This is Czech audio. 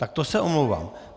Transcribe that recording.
Tak to se omlouvám.